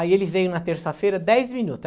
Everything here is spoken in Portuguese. Aí ele veio na terça-feira, dez minuto.